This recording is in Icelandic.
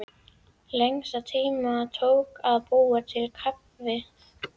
Lengstan tíma tók að búa til kaffið.